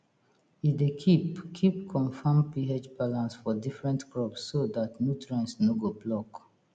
e dey keep keep confam ph balance for different crops so dat nutrients no go block